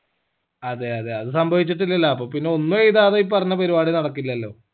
അതെ അതെ അത് സംഭവിച്ചിട്ടില്ലല്ലാ അപ്പൊ പിന്നെ ഒന്നും എഴിതാതെ ഈ പറഞ്ഞ പരിപാടി നടക്കില്ലല്ലോ